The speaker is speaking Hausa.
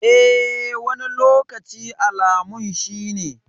Eh, wani lokaci alamun shi ne.